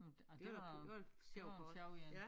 Ej det var det var en sjov én